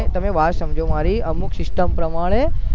તમે વાત સમજો મરી અમુક system પ્રમાણે